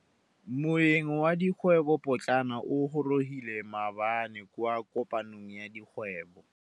Moêng wa dikgwêbô pôtlana o gorogile maabane kwa kopanong ya dikgwêbô.